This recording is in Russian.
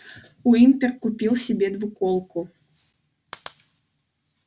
уимпер купил себе двуколку